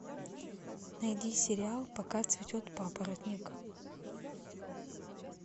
найди сериал пока цветет папоротник